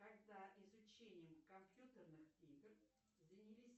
когда изучением компьютерных игр занялись